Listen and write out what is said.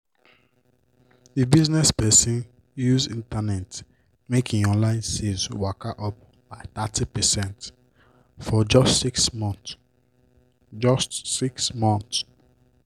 d business person use internet make im online sales waka up by thirty percent for just six months. just six months.